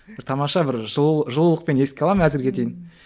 бір тамаша бір жылу жылулықпен еске аламын әзірге дейін